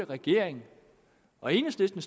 regeringen og enhedslisten